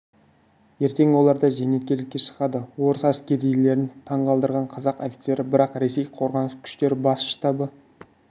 ертең олар да зейнеткерлікке шығады орыс әскерилерін таңғалдырған қазақ офицері бірақ ресей қорғаныс күштері бас штабы